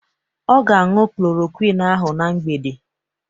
Ọ ga-añụ klorokwin ahụ na mgbede.